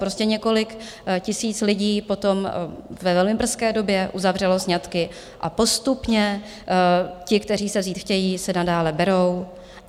Prostě několik tisíc lidí potom ve velmi brzké době uzavřelo sňatky a postupně ti, kteří se vzít chtějí, se nadále berou.